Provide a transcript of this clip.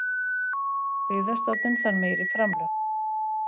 Byggðastofnun þarf meiri framlög